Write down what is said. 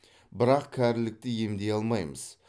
бірақ кәрілікті емдей алмаймыз